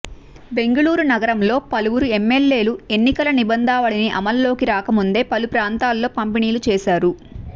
బెంగళూరు నగరంలో పలు వురు ఎమ్మెల్యేలు ఎన్నికల నిబంధనావళి అమల్లోకి రాకముందే పలు ప్రాంతాల్లో పంపిణీలు చేశారు